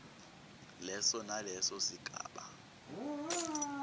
leso naleso sigaba